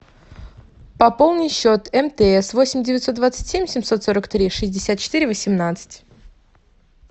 пополни счет мтс восемь девятьсот двадцать семь семьсот сорок три шестьдесят четыре восемнадцать